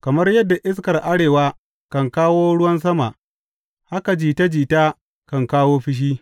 Kamar yadda iskar arewa kan kawo ruwan sama, haka jita jita kan kawo fushi.